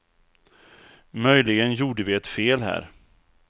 Möjligen gjorde vi ett fel här.